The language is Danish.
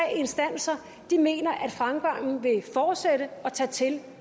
instanser mener at fremgangen vil fortsætte og tage til